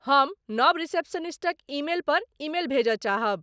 हम नव रिसेप्शनिस्टक ईमेल पर ईमेल भेजय चाहब।